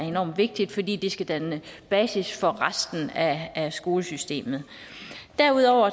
enormt vigtigt fordi det skal danne basis for resten af af skolesystemet derudover